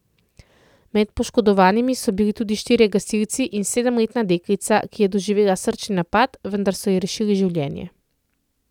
Med poškodovanimi so bili tudi štirje gasilci in sedemletna deklica, ki je doživela srčni napad, vendar so ji rešili življenje.